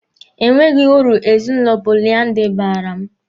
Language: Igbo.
Enweghị uru ezinụlọ poliandiri baara mụ.